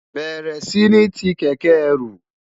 béèrè sí ní tí kéké ẹrù